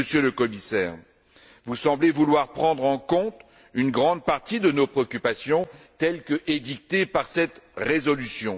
Mais, Monsieur le Commissaire, vous semblez vouloir prendre en compte une grande partie de nos préoccupations telles qu'édictées par cette résolution.